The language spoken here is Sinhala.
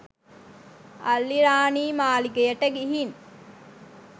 අල්ලිරාණි මාලිගයට ගිහින්